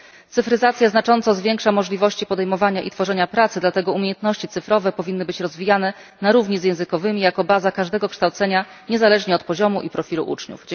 Cyfryzacja znacząco zwiększa możliwości podejmowania i tworzenia pracy, dlatego umiejętności cyfrowe powinny być rozwijane na równi z językowymi jako baza każdego kształcenia niezależnie od poziomu i profilu uczniów.